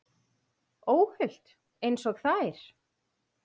Óhult einsog þær.